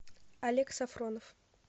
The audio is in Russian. олег сафронов